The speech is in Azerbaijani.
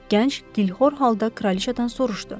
Gənc dilxor halda kraliçadan soruşdu.